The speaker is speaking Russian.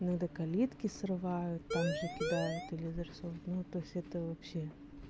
иногда калитки срывают там же кидают или изрисовывают ну то есть это вообще